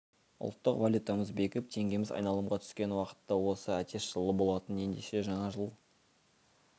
ұлттық валютамыз бекіп теңгеміз айналымға түскен уақыт та осы әтеш жылы болатын ендеше жаңа жыл